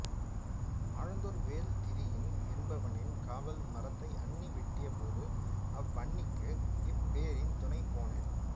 அழுந்தூர்வேள் திதியன் என்பவனின் காவல் மரத்தை அன்னி வெட்டியபோது அவ்வன்னிக்கு இப்பெரியன் துணை போனான்